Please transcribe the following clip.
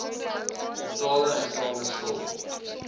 totale uitstaande skuld